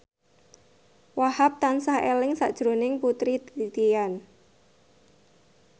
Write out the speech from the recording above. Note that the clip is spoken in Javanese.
Wahhab tansah eling sakjroning Putri Titian